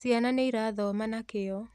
Ciana nĩirathoma na kĩyo